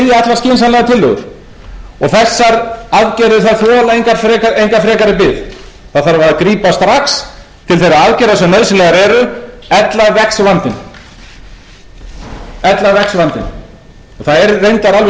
skynsamlegar tillögur þessar aðgerðir þola enga frekari bið það þarf að grípa strax til þeirra aðgerða sem nauðsynlegar eru ella vex vandinn það er reyndar alveg